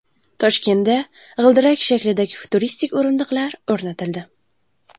Toshkentda g‘ildirak shaklidagi futuristik o‘rindiqlar o‘rnatildi .